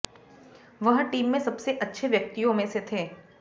वह टीम में सबसे अच्छे व्यक्तिों में से थे